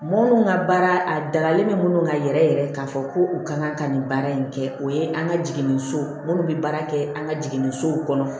Mɔgɔ minnu ka baara a dalen bɛ minnu kan yɛrɛ yɛrɛ k'a fɔ ko u ka kan ka nin baara in kɛ o ye an ka jiginniso minnu bɛ baara kɛ an ka jiginnisow kɔnɔ